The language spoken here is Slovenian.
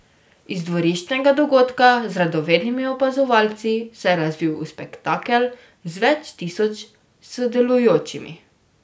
Iz dvoriščnega dogodka z radovednimi opazovalci se je razvil v spektakel z več tisoč sodelujočimi.